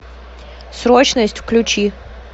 срочность включи